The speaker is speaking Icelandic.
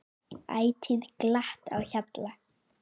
Ætíð glatt á hjalla.